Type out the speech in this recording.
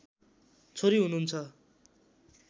छोरी हुनुहुन्छ